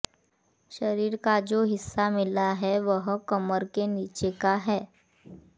शरीर का जो हिस्सा मिला है वह कमर के नीचे का है